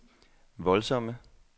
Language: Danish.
voldsomme